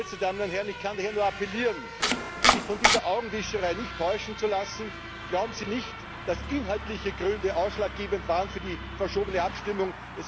Geschätzte Damen und Herren, ich kann daher nur appellieren, sich von dieser Augenwischerei nicht täuschen zu lassen. Glauben Sie nicht, dass inhaltliche Gründe ausschlaggebend waren für die verschobene Abstimmung!